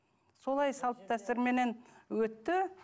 солай салт дәстүрменен өтті